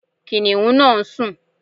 Kìnnìún náà ń sùn.